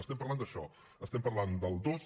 estem parlant d’això estem parlant del dos